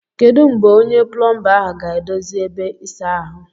Kedu mgbe onye plomba ahụ ga-edozi ebe ịsa ahụ?